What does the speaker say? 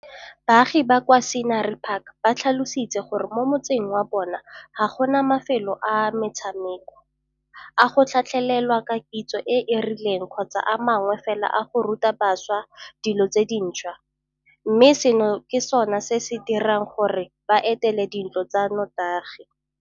Baagi ba kwa Scenery Park ba tlhalositse gore mo motseng wa bona ga go na mafelo a metshameko, a go tlhatlhelelwa ka kitso e e rileng kgotsa a mangwe fela a go ruta bašwa dilo tse dintšhwa, mme seno ke sona se se dirang gore ba etele dintlo tsa notagi.